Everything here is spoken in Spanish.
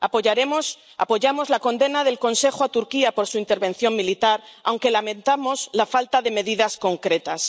Apoyamos la condena del Consejo a Turquía por su intervención militar, aunque lamentamos la falta de medidas concretas.